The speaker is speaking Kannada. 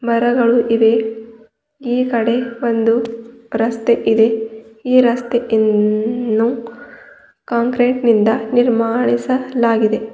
ಮರಗಳು ಇವೆ ಈ ಕಡೆ ಒಂದು ರಸ್ತೆಯಿದೆ ಈ ರಸ್ತೆಯನ್ನು ಕಾಂಕ್ರೀಟ್ನಿಂದ ನಿರ್ಮಾಣಿಸಲಾಗಿದೆ.